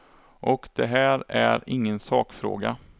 Och det här är ingen sakfråga.